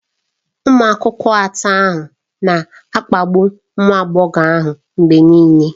Ụmụ akwụkwọ atọ ahụ na-akpagbu nwa agbọghọ ahụ mgbe niile.